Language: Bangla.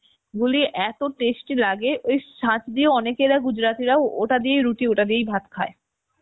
গুলিয়ে এত tasty লাগে ওই ছাঁচ দিয়ে অনেকেরা gujrati রা ওটা দিয়েই রুটি ওটা দিয়েই ভাত খায়